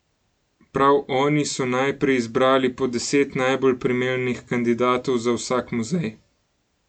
Prav oni so najprej izbrali po deset najbolj primernih kandidatov za vsak muzej.